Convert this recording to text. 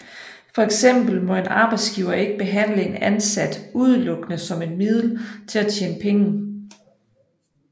For eksempel må en arbejdsgiver ikke behandle en ansat udelukkende som et middel til at tjene penge